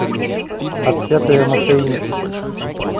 отпетые мошенники